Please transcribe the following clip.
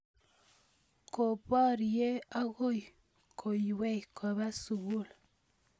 koporie akoi koiywei kopa sukul